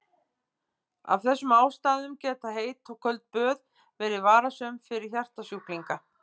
Af þessum ástæðum geta heit og köld böð verið varasöm fyrir hjartasjúklinga.